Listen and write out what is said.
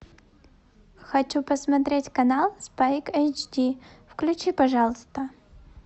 хочу посмотреть канал спайк эйч ди включи пожалуйста